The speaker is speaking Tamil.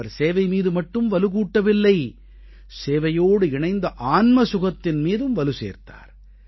அவர் சேவை மீது மட்டும் வலுகூட்டவில்லை சேவையோடு இணைந்த ஆன்ம சுகத்தின் மீதும் வலுசேர்த்தார்